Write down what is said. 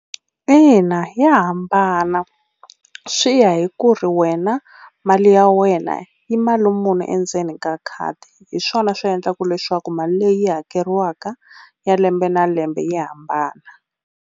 Ina ya hambana swi ya hi ku ri wena mali ya wena i mali muni endzeni ka khadi, hi swona swi endlaka leswaku mali leyi hakeriwaka ya lembe na lembe yi hambana.